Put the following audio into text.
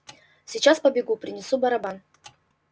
сейчас побегу принесу барабан